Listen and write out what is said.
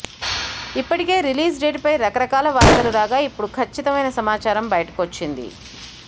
ఇప్పటికే release date పై రకరకాల వార్తలు రాగా ఇప్పుడు ఖచ్చితమైన సమాచారం బయటికొచ్చింది